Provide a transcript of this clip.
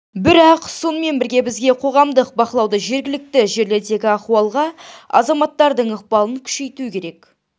бірақ сонымен бірге бізге қоғамдық бақылауды жергілікті жерлердегі ахуалға азаматтардың ықпалын күшейту керек